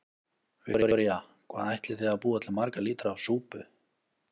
Viktoría: Hvað ætlið þið að búa til marga lítra af súpu?